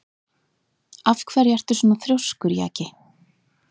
Af hverju ertu svona þrjóskur, Jaki?